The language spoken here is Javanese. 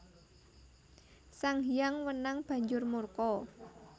Sang Hyang Wenang banjur murka